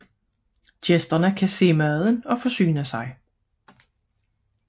Gæsterne kan se maden og forsyne sig